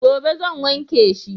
gobe zan wanke shi